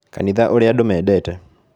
Kanitha ũrĩa andũ mendete